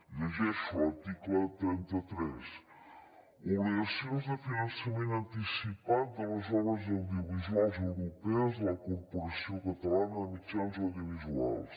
llegeixo l’article trenta tres obligacions de finançament anticipat de les obres audiovisuals europees a la corporació catalana de mitjans audiovisuals